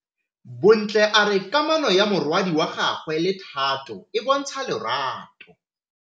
Bontle a re kamanô ya morwadi wa gagwe le Thato e bontsha lerato.